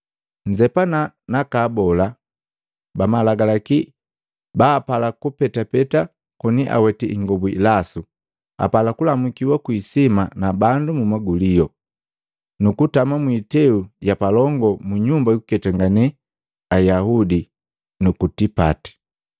“Nzepana naka abola ba Malagalaki bapala kupetapeta koni aweti ingobu ilasu, apala kulamukiwa kwii hisima na bandu mumagulio, nukutama mwiteu yapalongi mu nyumba jukuketangane Ayaudi nuku tipati.